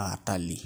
aa talii.